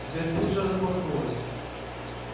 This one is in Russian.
дверь тут же распахнулась